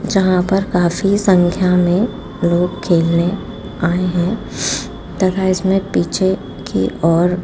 जहां पर काफी संख्या में लोग खेलने आए हैं तथा इसमें पीछे की ओर --